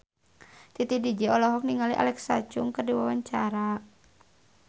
Titi DJ olohok ningali Alexa Chung keur diwawancara